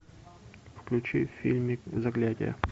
включи фильмик заклятие